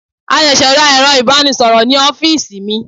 A ṣẹ̀ṣẹ̀ ra ero ibanisoro ní ọ́fíìsì mi.